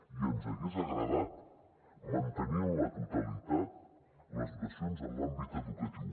i ens hagués agradat mantenir en la totalitat les dotacions en l’àmbit educatiu